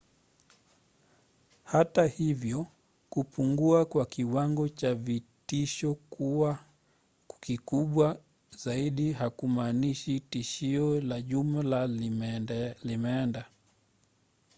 hata hivyo kupungua kwa kiwango cha vitisho kuwa kikubwa zaidi hakumaanishi tishio la jumla limeenda.